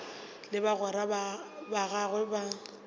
le bagwera ba gagwe ba